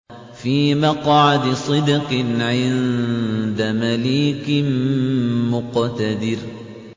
فِي مَقْعَدِ صِدْقٍ عِندَ مَلِيكٍ مُّقْتَدِرٍ